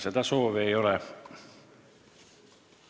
Seda soovi ei ole.